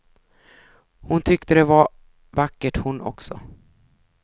Hon tyckte det var vackert hon också.